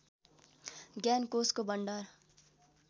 ज्ञानकोषको भण्डार